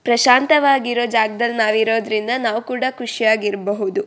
ಪ್ರಶಾಂತವಾಗಿರುವ ಜಗದಲ್ಲಿ ನಾವು ಇರೋದ್ರಿಂದ ನಾವು ಕೂಡ ಖುಷಿಯಾಗಿ ಇರ್ಬಹುದು-